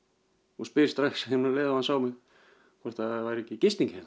og spyr strax um leið og hann sá mig hvort það væri ekki gisting hérna